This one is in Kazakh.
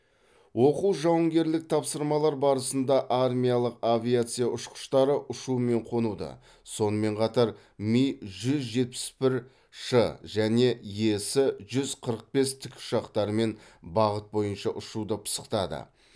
оқу жауынгерлік тапсырмалар барысында армиялық авиация ұшқыштары ұшу мен қонуды сонымен қатар ми жүз жетпіс бір ш және ес жүз қырық бес тікұшақтарымен бағыт бойынша ұшуды пысықтады